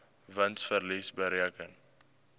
wins verlies bereken